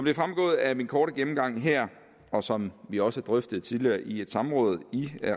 er fremgået af min korte gennemgang her og som vi også drøftede tidligere i et samråd i